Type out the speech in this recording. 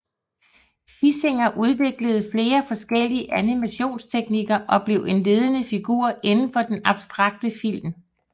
Fischinger udviklede flere forskellige animationstekniker og blev en ledende figur indenfor den abstrakte film